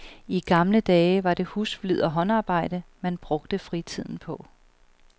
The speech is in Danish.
I gamle dage var det husflid og håndarbejde, man brugte fritiden på.